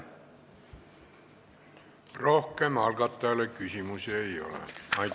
Rohkem algatajale küsimusi ei ole.